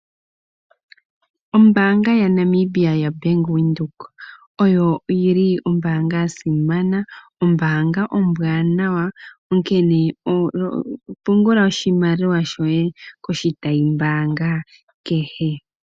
Ombanga yaNamibia yoBank Windhoek oyo yi li ombanga ya simana, ombanga ombwaanawa onkene pungula oshimaliwa shoye koshitayimbanga kehe.